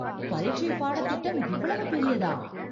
பரீட்சை பாடத்திட்டம் இவ்வளவு பெரியதா